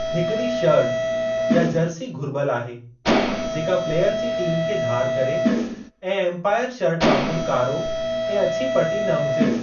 हिकिड़ी शर्ट या जर्सी घुरिबलु आहे जेका प्लेयर जी टीम खे धार करे ऐं एम्पायर शर्ट वांगुरु कारो ऐं अछो पटी न हुजे।